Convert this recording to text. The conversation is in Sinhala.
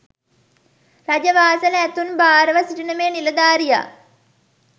රජ වාසල ඇතුන් භාර ව සිටින මේ නිලධාරියා